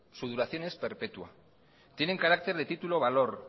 su duración es perpetua tienen carácter de titulo o valor